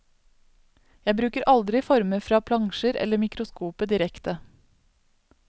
Jeg bruker aldri former fra plansjer eller mikroskopet direkte.